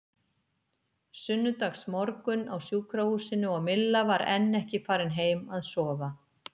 Sunnudagsmorgunn á sjúkrahúsinu og Milla var enn ekki farin heim að sofa.